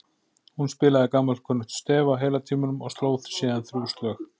Hún spilaði gamalkunnugt stef á heila tímanum og sló síðan þrjú slög.